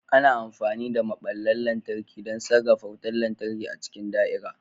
Ana amfani da maɓallan lantarki don sarrafa wutar lantarki a cikin da'ira.